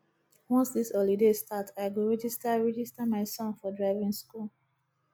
once dis holiday start i go register register my son for driving skool